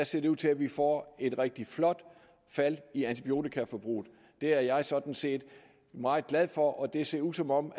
ser ud til at vi får et rigtig flot fald i antibiotikaforbruget det er jeg sådan set meget glad for og det ser ud som om